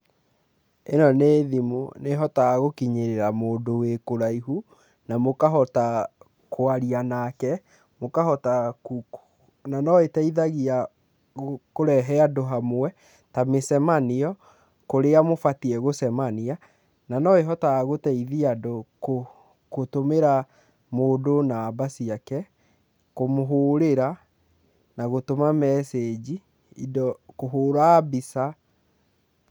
Ĩno nĩ thimũ nĩhotaga gũkinyĩrĩra mũndũ wĩ kũraihu na mũkahota kwaria nake na mũkahota, na no ĩteithagia kũrehe andũ hamwe ta mĩcemania kũrĩa mũbatiĩ gũcemania na no ĩhotaga gũteithia andũ gũtumĩra mũndũ namba ciake kũmũhũrĩra na gũtuma mecĩnji indo, kũhũra mbica.